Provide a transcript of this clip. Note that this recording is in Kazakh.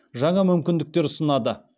жаңа мүмкіндіктер ұсынады